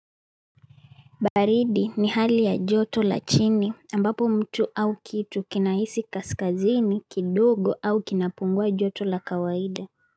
Baridi ni hali ya joto la chini ambapo mtu au kitu kinahisi kaskazini kidogo au kinapungua joto la kawaida.